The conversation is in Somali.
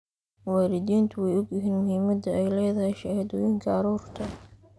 Waalidiintu waxay og yihiin muhiimadda ay leedahay shahaadooyinka carruurta.